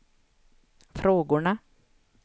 frågorna